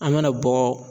An bɛna bɔ